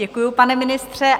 Děkuju, pane ministře.